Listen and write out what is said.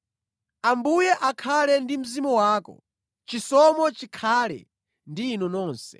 Ambuye akhale ndi mzimu wako. Chisomo chikhale ndi inu nonse.